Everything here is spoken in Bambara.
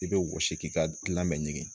I bɛ wɔsi k'i ka lamɛ ɲini